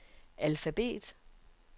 alfabet